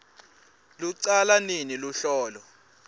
lucala nini luhlolo